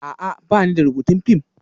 A'a, ba ni da rubutun fim